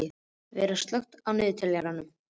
Vera, slökktu á niðurteljaranum.